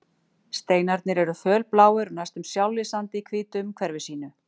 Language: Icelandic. Steinarnir eru fölbláir og næstum sjálflýsandi í hvítu umhverfi sínu